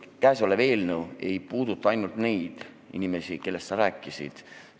Eelnõu ei puuduta ainult neid inimesi, kellest sa rääkisid.